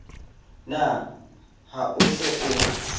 na ha o se o